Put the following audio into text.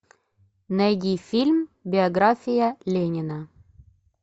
найди фильм биография ленина